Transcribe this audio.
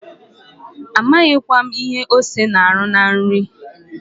Amaghịkwa m ihe ose na-arụ na nri.